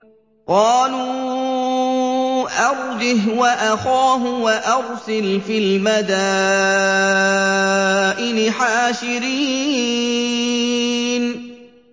قَالُوا أَرْجِهْ وَأَخَاهُ وَأَرْسِلْ فِي الْمَدَائِنِ حَاشِرِينَ